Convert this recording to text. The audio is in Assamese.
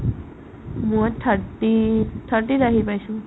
মই thirty ত thirty ত আহি পাইছো ।